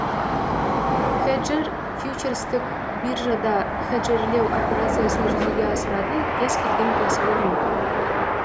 хеджер фьючерстік биржада хеджерлеу операциясын жүзеге асыратын кез келген кәсіпорын